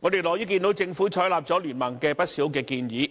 而我們樂見政府採納了經民聯的不少建議。